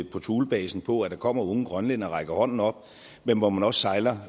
på thulebasen på at der kommer unge grønlændere og rækker hånden op men hvor man også sejler